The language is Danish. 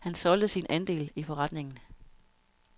Han solgte sin andel i forretningen.